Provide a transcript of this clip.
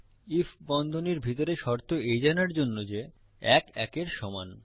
if বন্ধনীর ভিতরে শর্ত এই জানার জন্য যে ১ ১ এর সমান